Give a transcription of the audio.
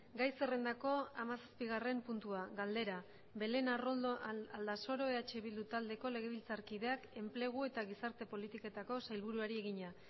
gai zerrendako hamazazpigarren puntua galdera belén arrondo aldasoro eh bildu taldeko legebiltzarkideak enplegu eta gizarte politiketako sailburuari egina